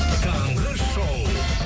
таңғы шоу